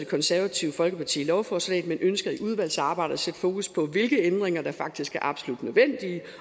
konservative folkeparti lovforslaget men ønsker i udvalgsarbejdet at sætte fokus på hvilke ændringer der faktisk er absolut nødvendige